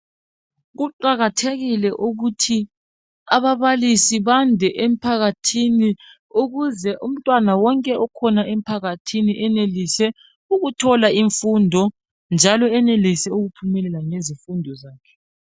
Kuqakathekile ukuthi ababalisi bande emphakathini ukuze umntwana wonke okhona emphakathini enelise ukuthola imfundo njalo enelise ukuphumelela ngezifundo zakhe